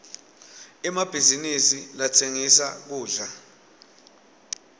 emabhizinisi latsengisa kudla